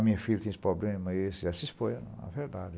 A minha filha tinha esse problema e ela se expôs à verdade.